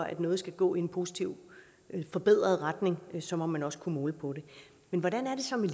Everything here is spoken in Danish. at noget skal gå i en positiv og forbedret retning så må man også kunne måle på det men hvordan er det så med